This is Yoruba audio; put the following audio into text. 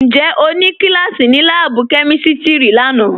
Ǹjẹ́ o nì kílàsí ní làábù̀ kẹmístírì làánà